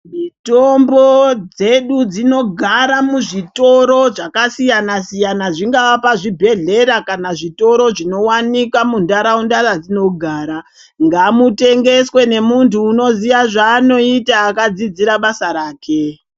Mitombo dzedu dzinogara muzvitoro zvakasiyana-siyana zvingava pazvibhedhlera kana zvitoro zvinowanikwa mundaraunda yatinogara. Ngamutengeswe nemuntu unoziya zvaari kuita akadzidzira basa rake.